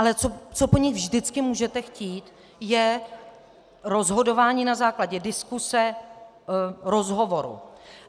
Ale co po nich vždycky můžete chtít, je rozhodování na základě diskuse, rozhovoru.